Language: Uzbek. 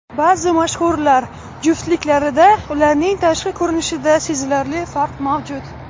Ba’zi mashhurlar juftliklarida ularning tashqi ko‘rinishida sezilarli farq mavjud.